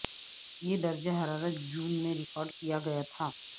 یہ درجہ حرارت جون میں ریکارڈ کیا گیا تھا